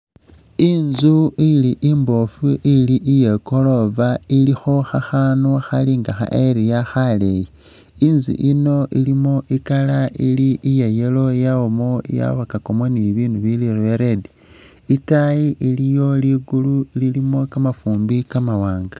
Inzu ili imboofu ili iye gorofa ilikho khakhanu khali nga ha ariel khaleeyi. Inzu yino ilimo i'colour ili iya yellow yabamu yabakakamo ni bibinu bili bya red. Itaayi iliyo likulu lilimo kamafuumbi kamawaanga.